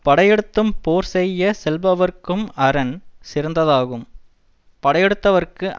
படையெடுத்தும் போர் செய்ய செல்பவர்க்கும் அரண் சிறந்ததாகும் படையெடுத்தவர்க்கு